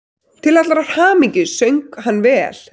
Til allrar hamingju söng hann vel!